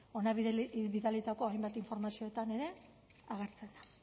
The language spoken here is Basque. hona bidalitako hainbat informazioetan ere agertzen da